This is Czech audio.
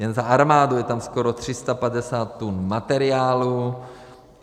Jen za armádu je tam skoro 350 tun materiálu.